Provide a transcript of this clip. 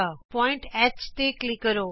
ਬਿੰਦੂ H ਤੇ click ਕਰੋ